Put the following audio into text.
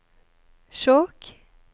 Skjåk